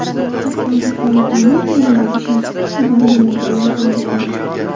Hatto haqoratomuz ma’nodagi shaxsiy xabar yo‘llaganlar ham bo‘ldi.